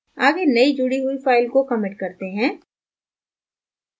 आगे नयी जुडी हुई file को commit करते हैं